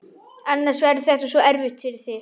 Annars verður þetta svo erfitt fyrir þig.